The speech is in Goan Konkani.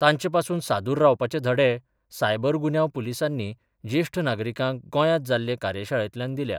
तांचे पासून सादुर रावपाचें धडे सायबर गुन्यांव पुलिसांनी जेश्ठ नागरिकांक गोंयात जाल्ले कार्यशाळेंतल्यान दिल्या.